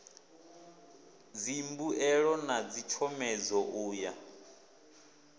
dzimbuelo na dzitshomedzo u ya